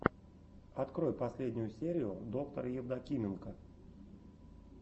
открой последнюю серию доктора евдокименко